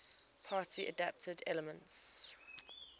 party adapted elements